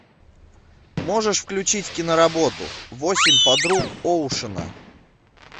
можешь включить киноработу восемь подруг оушена